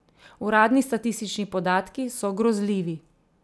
Uradni statistični podatki so grozljivi.